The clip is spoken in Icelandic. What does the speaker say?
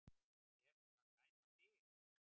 Er hún að dæma þig?